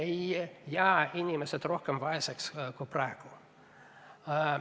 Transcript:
Ei jää inimesed rohkem vaeseks kui praegu.